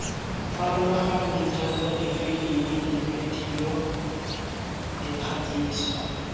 farologaneng jaaka difilimi dibedio dikgatiso